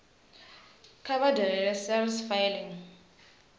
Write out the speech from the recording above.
kha vha dalele sars efiling